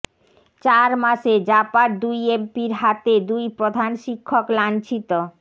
চার মাসে জাপার দুই এমপির হাতে দুই প্রধান শিক্ষক লাঞ্ছিত